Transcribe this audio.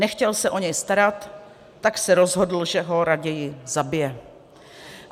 Nechtěl se o něj starat, tak se rozhodl, že ho raději zabije.